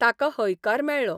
ताका हयकार मेळ्ळो.